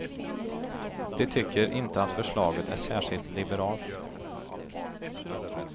De tycker inte att förslaget är särskilt liberalt.